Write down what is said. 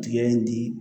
Tigɛ in di